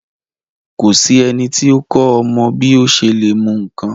Ko sí ẹniti o kọ ọmọ bi o ṣe le mu nkán.